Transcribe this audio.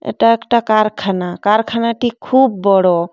এটা একটা কারখানা কারখানা টি খুব বড়ো।